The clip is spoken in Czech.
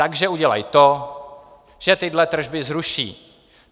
Takže udělají to, že tyhle tržby zruší.